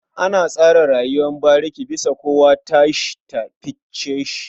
An tsara rayuwar bariki bisa kowa tasa ta fice shi.